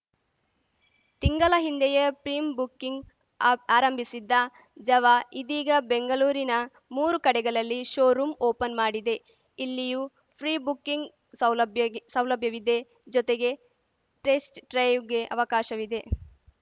ತಿಂಗಲ ಹಿಂದೆಯೇ pre booking ಆರ್ ಆರಂಭಿಸಿದ್ದ ಜಾವ ಇದೀಗ ಬೆಂಗಲೂರಿನ ಮೂರು ಕಡೆಗಲಲ್ಲಿ ಶೋ ರೂಂ ಓಪನ್‌ ಮಾಡಿದೆ ಇಲ್ಲಿಯೂ ಫ್ರಿ ಬುಕ್ಕಿಂಗ್‌ ಸೌಲಭ್ಯ ಗ್ ಸೌಲಭ್ಯವಿದೆ ಜೊತೆಗೆ ಟೆಸ್ಟ್‌ ಡ್ರೈವ್‌ಗೆ ಅವಕಾಶವಿದೆ